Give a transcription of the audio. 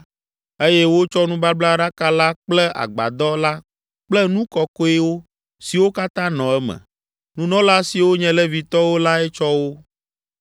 eye wotsɔ nubablaɖaka la kple agbadɔ la kple nu kɔkɔewo siwo katã nɔ eme. Nunɔla siwo nye Levitɔwo lae tsɔ wo;